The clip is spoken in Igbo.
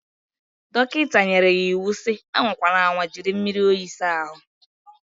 Dọkịta nyere ya iwu si, anwa kwana anwa jiri mmiri oyi sa ahu.